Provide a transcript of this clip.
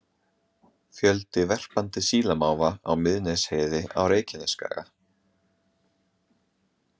Fjöldi verpandi sílamáfa á Miðnesheiði á Reykjanesskaga.